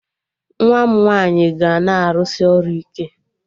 Nwa m nwaanyị ga na-arụsị ọrụ ike